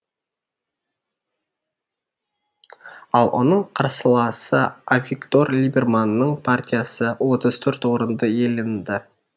ал оның қарсыласы авигдор либерманның партиясы отыз төрт орынды иеленді